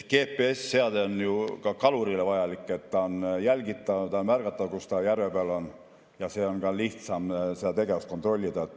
GPS‑seade on ju ka kalurile vajalik, siis on ta jälgitav, on märgatav, kus ta järve peal on, ja nii on ka lihtsam seda tegevust kontrollida.